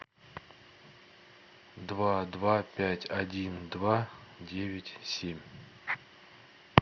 два два пять один два девять семь